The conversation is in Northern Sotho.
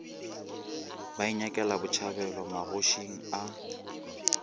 ba inyakela botšhabelo magošing a